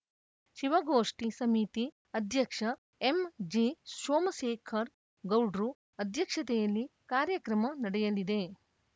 ಶಿವಗೋಷ್ಠಿ ಸಮಿತಿ ಅಧ್ಯಕ್ಷ ಎಂಜಿಸೋಮಶೇಖರ್ ಗೌಡ್ರು ಅಧ್ಯಕ್ಷತೆಯಲ್ಲಿ ಕಾರ್ಯಕ್ರಮ ನಡೆಯಲಿದೆ